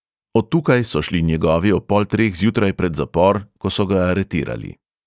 Od tukaj so šli njegovi ob pol treh zjutraj pred zapor, ko so ga aretirali.